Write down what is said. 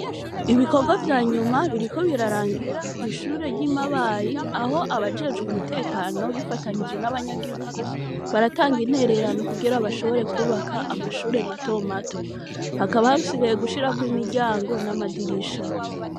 Ibikorwa vya nyuma biriko birarangira kw'ishure ry'i Mabayi, aho abajejwe umutekano bifatanije n'abanyagihigu, baratanga intererano kugira bashobore kwubaka amashure mato mato. Hakaba hasigaye gushirako imiryango n'amadirisha.